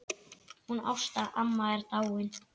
Hún Ásta amma er dáin.